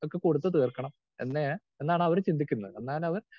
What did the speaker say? Speaker 2 ഒക്കെ കൊടുത്തു തീർക്കണം എന്നേ എന്നാണവര് ചിന്തിക്കുന്നത്.